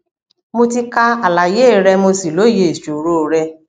mo ti ka àlàyé rẹ mo sì lóye ìṣòro rẹ